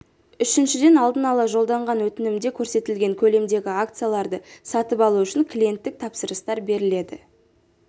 үшіншіден алдын ала жолданған өтінімде көрсетілген көлемдегі акцияларды сатып алу үшін клиенттік тапсырыстар беріледі